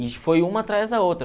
foi uma atrás da outra.